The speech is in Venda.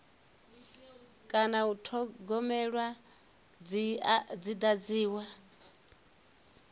kana u thogomelwa dzi dadziwa